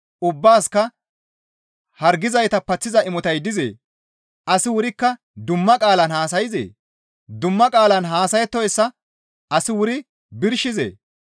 Ubbaasikka hargizayta paththiza imotay dizee? Asi wurikka dumma qaalan haasayzee? Dumma qaalan haasayettoyssa asi wuri birshizee?